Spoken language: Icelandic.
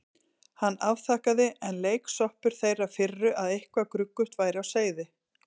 Hann afþakkaði, enn leiksoppur þeirrar firru að eitthvað gruggugt væri á seyði.